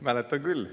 Mäletan küll.